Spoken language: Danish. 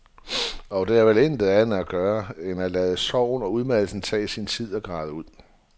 Og der er vel intet andet at gøre end at lade sorgen og udmattelsen tage sin tid og græde ud.